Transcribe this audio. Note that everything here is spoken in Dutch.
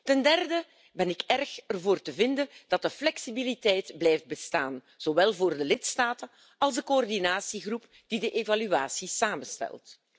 Ten derde ben ik er erg voor te vinden dat de flexibiliteit blijft bestaan, zowel voor de lidstaten als voor de coördinatiegroep die de evaluatie samenstelt.